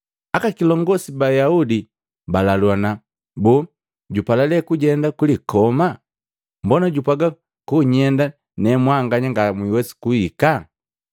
Aka kilongosi ba Ayaudi balaluana, “Boo jupala lee kujenda kulikoma? Mbona jupwaaga konyenda ne mwanganya ngamwiwesi kuhika?”